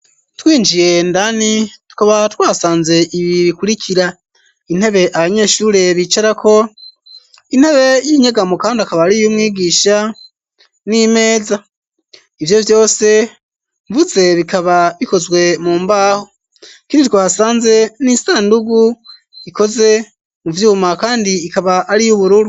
Twinjiye indani, tukaba twasanze ibi bikurikira: intebe abanyeshure bicarako, intebe y'inyegamo kandi akaba ari iy'umwigisha n'imeza. Ivyo vyose mvuze bikaba bikozwe mu mbaho. Ikindi twahasanze ni isandugu ikoze mu vyuma kandi ikaba ari iy'ubururu.